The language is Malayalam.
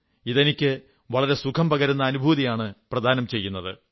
ഇത് എനിക്ക് വളരെ സുഖം പകരുന്ന അനുഭൂതിയാണ് പ്രദാനം ചെയ്യുന്നത്